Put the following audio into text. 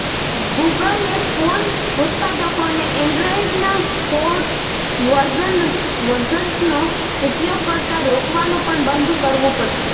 ગૂગલે phone ઉત્પાદકોને એન્ડ્રોઇડના forked વર્જન્સનો ઉપયોગ કરતા રોકવાનું પણ બંધ કરવું પડશે